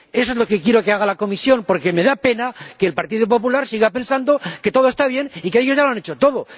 Eso es lo que quiero que haga la Comisión porque me da pena que el Partido Popular siga pensando que todo está bien y que ellos ya lo han hecho todo.